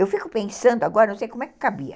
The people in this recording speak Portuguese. Eu fico pensando agora, não sei como é que cabia.